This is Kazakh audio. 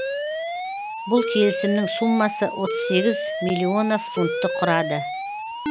бұл келісімнің суммасы отыз сегіз миллионов фунтты құрады